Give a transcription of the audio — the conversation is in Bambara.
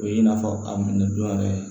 O ye i n'a fɔ ka minɛ don yɛrɛ